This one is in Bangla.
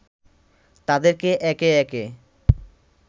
তাদেরকে একে একে